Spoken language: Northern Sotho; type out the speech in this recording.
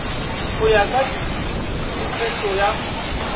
go ya ka tshepetšo ya